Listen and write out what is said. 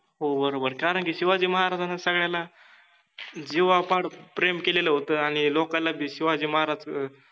हो बरोबर कारण कि शिवाजि महराजान सगळ्याला जिवापाड प्रेम केलेल होत आणि लोकाला ते शिवाजि महाराज